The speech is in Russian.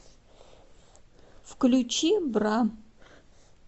включи бра